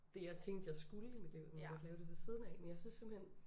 Det jeg tænkte jeg skulle i mit liv man kunne godt lave det ved siden af men jeg synes simpelthen